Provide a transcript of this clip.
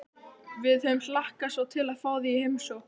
Við höfum hlakkað svo til að fá þig í heimsókn